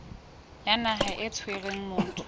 ya naha e tshwereng motho